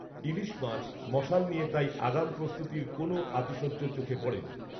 ইলিশ মাছ, মশাল নিয়ে, তাই, আগাম প্রস্তুতীর কোনও, আতিশয্য চোখে পড়েনি